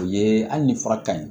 O ye hali ni fura ka ɲi